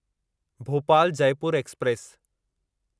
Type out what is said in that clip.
Bhopal Jaipur express